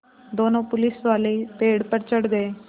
दोनों पुलिसवाले पेड़ पर चढ़ गए